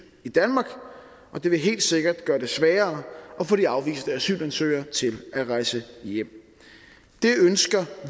i danmark og det vil helt sikkert at gøre det sværere at få de afviste asylansøgere til at rejse hjem det ønsker